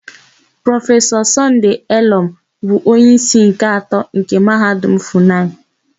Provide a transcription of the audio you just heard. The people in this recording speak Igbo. Prọfesọ Sọnde Elọm bụ onyeísí nke atọ nke Mahadum Fụnayị.